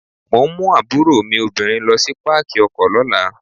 Mò ń mú àbúrò mi obìnrin lo sí Pákì ọkọ̀ lọ́la.